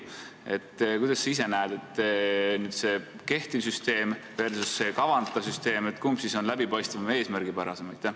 Kuidas sinu arvates on: see kehtiv süsteem versus kavandatav süsteem, kumb on läbipaistvam ja eesmärgipärasem?